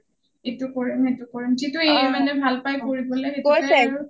এইটো কৰিম সেইটো কৰিম যিটো কৰিবলৈ ভাল পাই সেইতুকে আৰু